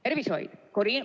Tervishoid.